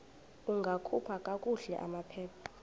ungakhupha kakuhle amaphepha